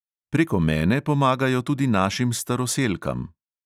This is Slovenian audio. Preko mene pomagajo tudi našim staroselkam.